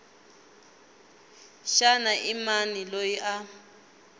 xana i mani loyi a